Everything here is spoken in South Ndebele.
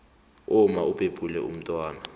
umma ubhebhula umntwana